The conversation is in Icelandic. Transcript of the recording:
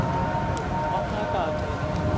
Freymundur, opnaðu dagatalið mitt.